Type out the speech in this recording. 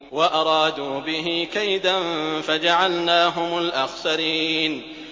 وَأَرَادُوا بِهِ كَيْدًا فَجَعَلْنَاهُمُ الْأَخْسَرِينَ